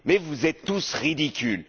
Vous êtes tous ridicules!